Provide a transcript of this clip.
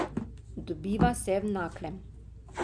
Dobiva se v Naklem.